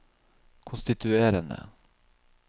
konstituerende